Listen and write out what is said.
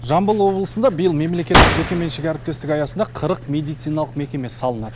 жамбыл облысында биыл мемлекеттік жеке меншік әріптестік аясында қырық медициналық мекеме салынады